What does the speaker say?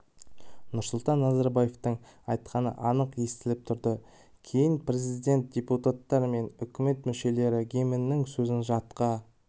нұрсұлтан назарбаевтың айтқаны анық естіліп тұрды кейін президент депутаттар мен үкімет мүшелері гимннің сөзін жатқа